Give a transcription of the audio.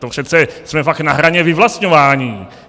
To přece jsme pak na hraně vyvlastňování.